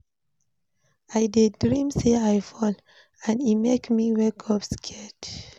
I dream say I dey fall, and e make me wake up scared.